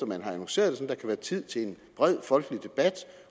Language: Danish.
man har annonceret være tid til en bred folkelig debat